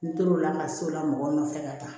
N tor'o la ka s'o la mɔgɔ nɔfɛ ka taa